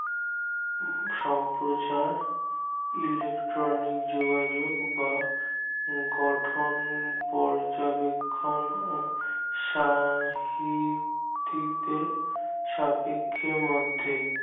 সম্প্রচার ইলেষ্ট্রলিকে যোগাযোক গঠন পর্যবেক্ষণ সা হি ত্তিক দের সাপেক্ষ মধ্যে